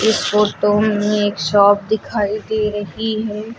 इस फोटो मे एक शॉप दिखाई दे रही है।